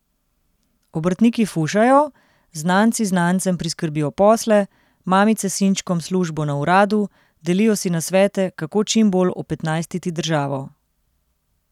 Obrtniki fušajo, znanci znancem priskrbijo posle, mamice sinčkom službo na uradu, delijo si nasvete, kako čim bolj opetnajstiti državo.